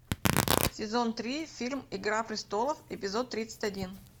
сезон три фильм игра престолов эпизод тридцать один